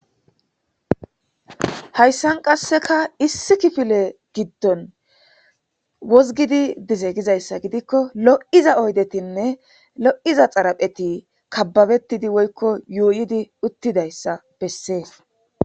hayssan qasseka issi kifile giddon wozgidi dize gizayssa gidikko lo7iza oydetinne lo7iza xarapheti kababettidi woykko yuuyidi uttidayssa bessees